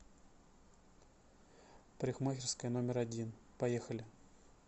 парикмахерская номер один поехали